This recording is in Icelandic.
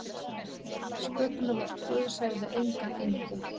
Sköpunarverk Guðs hefði engan endi.